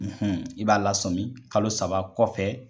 i b'a lasɔmi kalo saba kɔfɛ